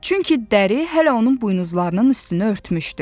Çünki dəri hələ onun buynuzlarının üstünə örtmüşdü.